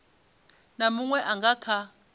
na munwe a nga kha